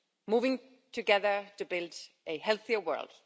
Moving Together to Build a Healthier World.